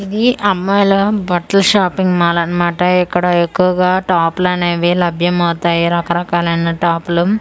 ఇది అమ్మాయిల బట్ల షాపింగ్ మాల్ అన్నమాట ఇక్కడ ఎక్కువగా టాప్లనేవి లభ్యమవతాయి రకరకాలైన టాప్ లు . అన్--